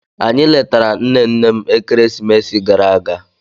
Anyị letara nne nne m ekeresimesi gara aga